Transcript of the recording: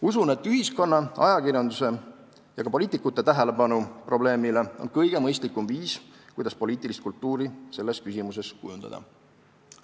Usun, et ühiskonna, ajakirjanduse ja ka poliitikute tähelepanu probleemile on kõige mõistlikum viis, kuidas poliitilist kultuuri selles küsimuses kujundada.